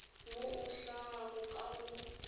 wo o hlagago ka go